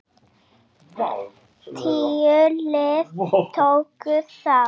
Tíu lið tóku þátt.